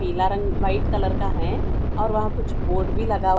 पीला रंग कलर का है और वहां कुछ बोर्ड भी लगा---